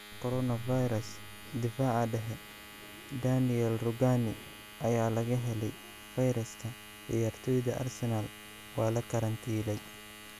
Coronavirus: Daafaca dhexe, Daniele Rugani ayaa laga helay fayraska, ciyaartoyda Arsenal waa la karantiilay